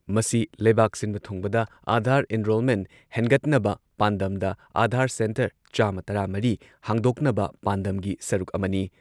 ꯃꯁꯤ ꯂꯩꯕꯥꯛ ꯁꯤꯟꯕ ꯊꯨꯡꯕꯗ ꯑꯥꯙꯥꯔ ꯑꯦꯟꯔꯣꯜꯃꯦꯟꯠ ꯍꯦꯟꯒꯠꯅꯕ ꯄꯥꯟꯗꯝꯗ ꯑꯥꯙꯥꯔ ꯁꯦꯟꯇꯔ ꯆꯥꯃ ꯇꯔꯥ ꯃꯔꯤ ꯍꯥꯡꯗꯣꯛꯅꯕ ꯄꯥꯟꯗꯝꯒꯤ ꯁꯔꯨꯛ ꯑꯃꯅꯤ ꯫